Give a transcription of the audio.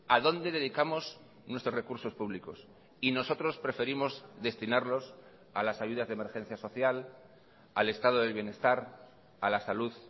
a dónde dedicamos nuestros recursos públicos y nosotros preferimos destinarlos a las ayudas de emergencia social al estado del bienestar a la salud